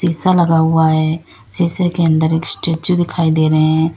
शीशा लगा हुआ है। शीशे के अंदर एक स्टैचू दिखाई दे रहे है।